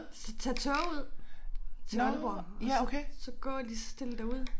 Så tage toget til Aalborg og så så gå lige så stille derud